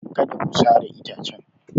Kada ku sare itacen!